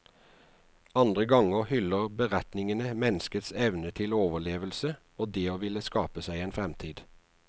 Andre ganger hyller beretningene menneskets evne til overlevelse og det å ville skape seg en fremtid.